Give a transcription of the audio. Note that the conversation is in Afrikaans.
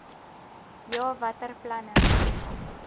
ja watter planne